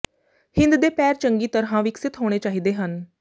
ਹਿੰਦ ਦੇ ਪੈਰ ਚੰਗੀ ਤਰ੍ਹਾਂ ਵਿਕਸਤ ਹੋਣੇ ਚਾਹੀਦੇ ਹਨ